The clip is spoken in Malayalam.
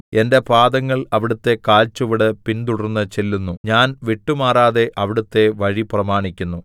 എന്റെ പാദങ്ങൾ അവിടുത്തെ കാൽച്ചുവട് പിൻതുടർന്ന് ചെല്ലുന്നു ഞാൻ വിട്ടുമാറാതെ അവിടുത്തെ വഴി പ്രമാണിക്കുന്നു